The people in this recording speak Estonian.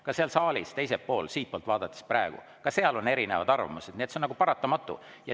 Ka seal saalis teisel pool, siitpoolt vaadates praegu, ka seal on erinevad arvamused, nii et see on paratamatu.